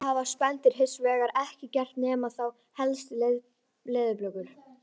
Aldamót eru þegar hundraðasta ári aldarinnar lýkur og næsta ár tekur við.